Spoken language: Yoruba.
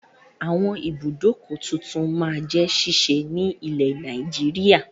Àwọn ibùdókọ̀ tuntun máa jẹ ṣíṣí ni ilẹ̀ Nàìjíríà